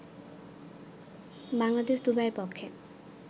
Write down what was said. বাংলাদেশ দুবাইয়ের পক্ষে